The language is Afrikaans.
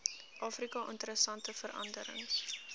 afrika interessante veranderings